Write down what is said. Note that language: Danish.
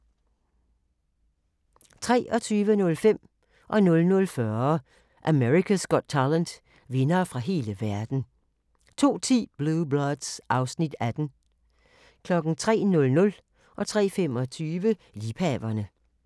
23:05: America's Got Talent - vindere fra hele verden 00:40: America's Got Talent - vindere fra hele verden 02:10: Blue Bloods (Afs. 18) 03:00: Liebhaverne 03:25: Liebhaverne